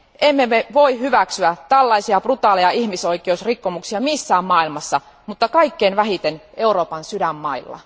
Me emme voi hyväksyä tällaisia brutaaleja ihmisoikeusrikkomuksia missään päin maailmaa, mutta kaikkein vähiten Euroopan sydänmailla.